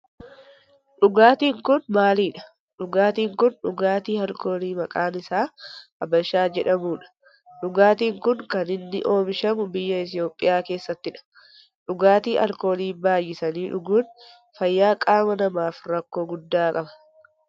Dhugaatin kun maalidha? Dhugaatin kun dhugaatii alkoolii maqaan isaa habashaa jedhamu dha. Dhugaatin kun kan inni oomishamu biyya Itiyoophiyaa keessattidha. Dhugaatii alkoolii baayyisanii dhuguun fayyaa qaama namaaf rakkoo guddaa qaba.